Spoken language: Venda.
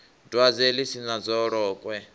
dwadze ḽi si na dzolokwe